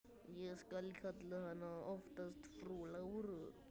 Ég kalla hana oftast frú Láru.